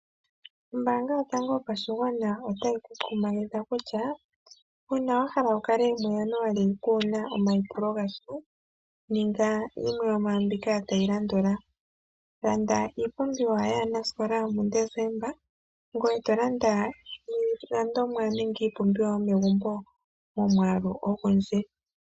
Ombaanga yotango yopashigwana otayi ku kumagidha kutya uuna wa hala wu kale mu Januali kuuna omayipulo gasha ninga yimwe yomwambika tayi landula. Landa iipumbiwa yaanasikola muDesemba, ngoye to landa iilandomwa nenge iipumbiwa yomegumbo momwaalu ogundji.